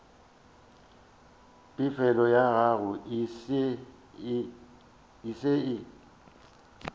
pefelo ya gago e se